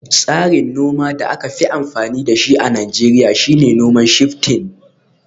Tsarin noma da aka fi amfani da shi a Najeriya shine noman Shifting